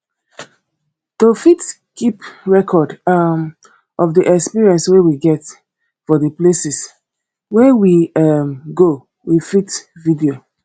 to fit keep record um of di experience wey we get for di places wey we um go we fit video